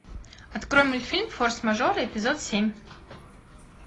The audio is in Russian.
открой мультфильм форс мажоры эпизод семь